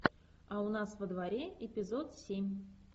а у нас во дворе эпизод семь